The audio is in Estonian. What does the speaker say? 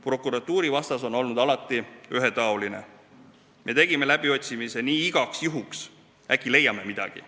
Prokuratuuri vastus on alati olnud ühetaoline: me tegime läbiotsimise igaks juhuks, et äkki leiame midagi.